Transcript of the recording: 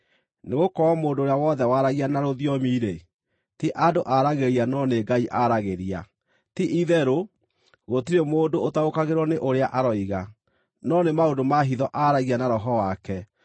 Nĩgũkorwo mũndũ ũrĩa wothe waragia na rũthiomi-rĩ, ti andũ aaragĩria no nĩ Ngai aaragĩria. Ti-itherũ, gũtirĩ mũndũ ũtaũkagĩrwo nĩ ũrĩa aroiga; no nĩ maũndũ ma hitho aaragia na roho wake.